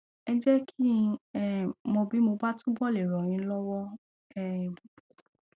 ẹ jẹ kí n um mọ bí mo bá túbọ le ràn yín lọwọ um